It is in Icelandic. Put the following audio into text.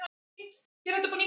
Boltinn var farinn að rúlla.